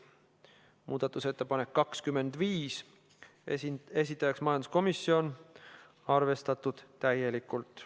Muudatusettepanek nr 25, esitajaks majanduskomisjon, arvestatud täielikult.